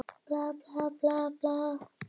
Þá fór hann bara varlega.